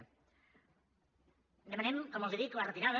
en demanem com els dic la retirada